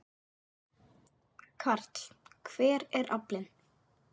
Karl: Hver er aflinn?